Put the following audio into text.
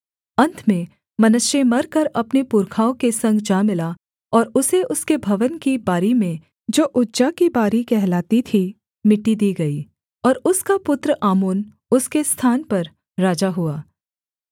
अन्त में मनश्शे मरकर अपने पुरखाओं के संग जा मिला और उसे उसके भवन की बारी में जो उज्जा की बारी कहलाती थी मिट्टी दी गई और उसका पुत्र आमोन उसके स्थान पर राजा हुआ